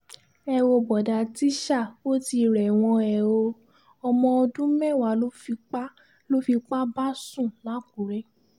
ẹ wo bóòdá tíṣà ò ti rẹ́wọ̀n hẹ ọ́ ọmọ ọdún mẹ́wàá ló fipá ló fipá bá sùn làkùrẹ́